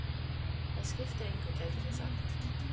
Það skiptir engu gætir þú sagt.